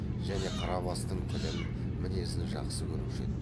және қарабастың тілін мінезін жақсы көруші еді